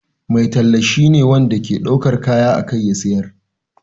Mai talla shine wanda ke daukar kaya a kai ya sayar.